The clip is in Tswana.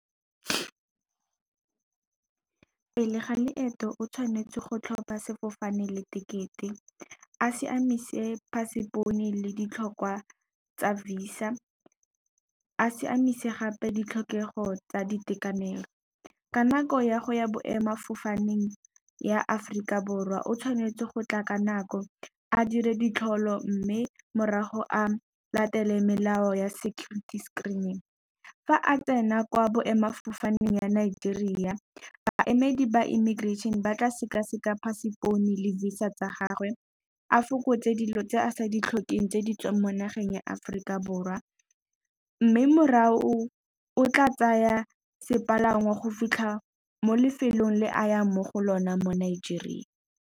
Pele ga leeto o tshwanetse go tlhopha sefofane le tekete, a siamise passport le ditlhokwa tsa visa, a siamisa gape ditlhokego tsa ditekanelo. Ka nako ya go ya boemafofaneng ya Aforika Borwa o tshwanetse go tla ka nako a dire ditholo mme morago a latele melao ya security screening. Fa a tsena kwa boemafofaneng ya Nigeria, baemedi ba immigration ba tla sekaseka passport le visa tsa gagwe, a fokotse dilo tse a sa ditlhokeng tse di mo nageng ya Aforika Borwa mme morago o tla tsaya sepalangwa go fitlha mo lefelong le a yang mo go lona mo Nigeria.